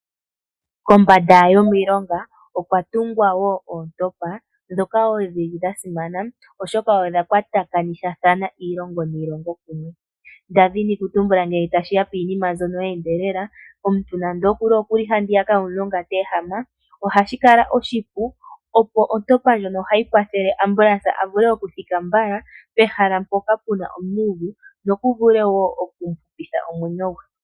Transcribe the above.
Kombanda yomilonga okwatungwa woo Oontompa dhoka dhili dhasimana oshoka odha kwatakanitha iilongo niilongo kumwe ,ngele tashiya kiinima mbyoka ye endelele omuntu nande okuli handiyaka yomulonga ohashikala oshipu oshoka ontopa ndjono ohayi kwathele ambulance avule okuthika mbala pehala mpoka pena omumvu nokuvule woo okuhupitha omwenyo gwe.